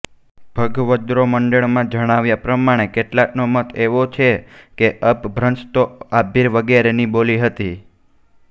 ભગવદ્રોમંડળમાં જણાવ્યા પ્રમાણે કેટલાકનો મત એવો છે કે અપભ્રંશ તો આભીર વગેરેની બોલી હતી